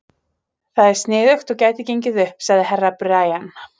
Það er sniðugt og gæti gengið upp, sagði Herra Brian.